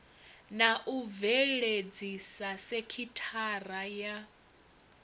na u bveledzisa sekithara ya